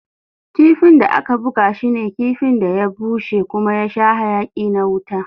Kifin da aka buga shi ne kifin da ya bushe kuma ya sha hayaki na wuta.